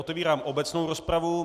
Otevírám obecnou rozpravu.